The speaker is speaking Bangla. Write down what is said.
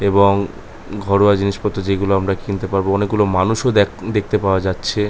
এবং ঘরোয়া জিনিসপত্র যে গুলো আমরা কিনতে পারবো অনেকগুলো মানুষ দেখ দেখতে পাওয়া যাচ্ছে।